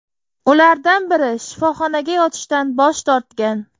Ulardan biri shifoxonaga yotishdan bosh tortgan.